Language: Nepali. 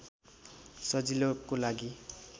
सजिलोको लागि